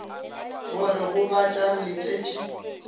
go re gobatša re letetše